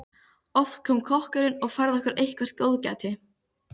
Oft kom kokkurinn og færði okkur eitthvert góðgæti.